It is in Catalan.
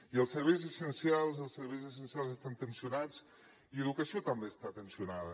i els serveis essencials els serveis essencials estan tensionats i l’educació també està tensionada